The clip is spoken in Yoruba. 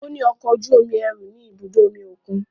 O ni ọkọ oju-omi ẹru ni ibudo omi okun